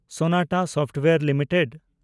Sonata software limited